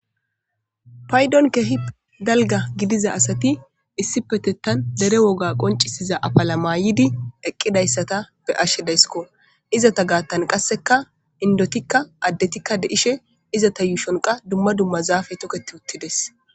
Paydon kehi dalga gidiza asati issi petettan dere woga qoncisiza afala maayidi eqqidayssata be ashshe daysko izata gaattan qasseka indotikka addetikka deishe izata yuushonqa dumma dumma zaafe toketi uttides.